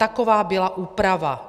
Taková byla úprava.